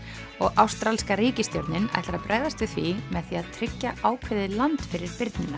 og ástralska ríkisstjórnin ætlar að bregðast við því með því að tryggja ákveðið land fyrir birnina